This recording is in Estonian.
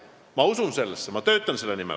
Ma usun sellesse ja ma töötan selle nimel.